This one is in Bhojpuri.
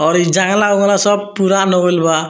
और इ जंगला-उंगला सब पुरान हो गईल बा।